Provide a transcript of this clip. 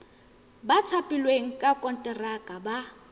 ba thapilweng ka konteraka ba